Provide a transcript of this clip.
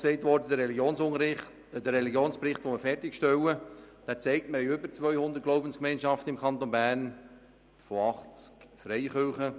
Auch gesagt worden ist, dass der fertiggestellte Religionsbericht zeigt, dass wir im Kanton Bern über 200 Glaubensgemeinschaften von 80 Freikirchen haben.